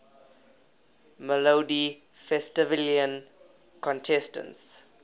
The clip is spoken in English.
melodifestivalen contestants